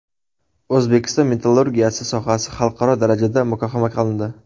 O‘zbekiston metallurgiyasi sohasi xalqaro darajada muhokama qilindi.